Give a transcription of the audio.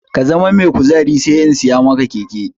Ka zama mai kuzari sai in siya maka keke!